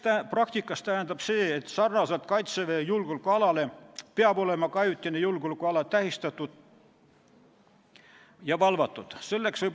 Praktikas tähendab see, et nagu Kaitseväe julgeolekuala peab ka ajutine julgeolekuala olema tähistatud ja valvatud.